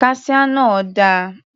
Kaṣíá náà dà?